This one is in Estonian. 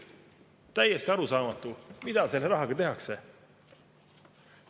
Täiesti arusaamatu, mida selle rahaga tehakse.